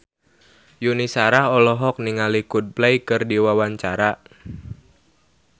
Yuni Shara olohok ningali Coldplay keur diwawancara